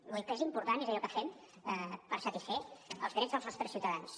vull dir el que és important és allò que fem per satisfer els drets dels nostres ciutadans